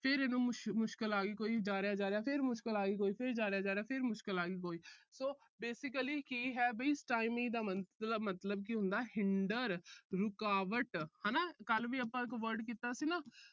ਫਿਰ ਇਹਨੂੰ ਮੁਸ਼ ਅਹ ਮੁਸ਼ਕਲ ਆ ਗਈ ਕੋਈ। ਫਿਰ ਜਾ ਰਿਹਾ, ਜਾ ਰਿਹਾ, ਫਿਰ ਮੁਸ਼ਕਲ ਆ ਗਈ ਕੋਈ। ਫਿਰ ਜਾ ਰਿਹਾ, ਜਾ ਰਿਹਾ, ਫਿਰ ਮੁਸ਼ਕਲ ਆ ਗਈ ਕੋਈ। so basically ਕੀ ਹੈ ਵੀ stymie ਦਾ ਮੰਤ ਅਹ ਮਤਲਬ ਕੀ ਹੁੰਦਾ hinder ਰੁਕਾਵਟ ਹਨਾ ਕੱਲ੍ਹ ਵੀ ਆਪਾ ਇੱਕ word ਕੀਤਾ ਸੀ ਨਾ।